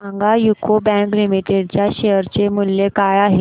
सांगा UCO bank limited च्या share चे मूल्य काय आहे